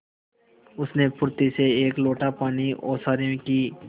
उसने फुर्ती से एक लोटा पानी ओसारे की